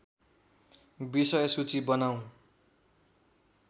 विषयसूची बनाऊँ